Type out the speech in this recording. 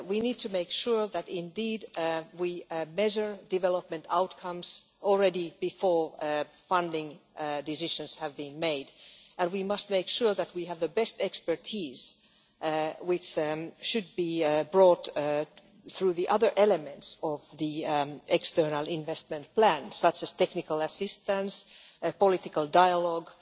We need to make sure that we indeed measure development outcomes already before funding decisions have been made, and we must make sure that we have the best expertise, which should be brought through the other elements of the external investment plan, such as technical assistance and political dialogue.